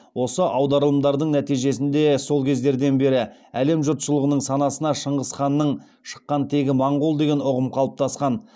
осы аударылымдардың нәтижесінде сол кездерден бері әлем жұртшылығының санасына шыңғыс ханның шыққан тегі моңғол деген ұғым қалыптасқан